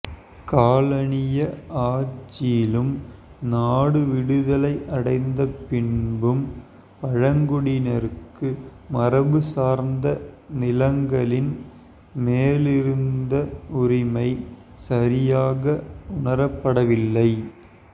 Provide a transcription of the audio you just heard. காலனிய ஆட்சியிலும் நாடு விடுதலை அடைந்த பின்பும் பழங்குடியினருக்கு மரபு சார்ந்த நிலங்களின் மேலிருந்த உரிமை சரியாக உணரப்படவில்லை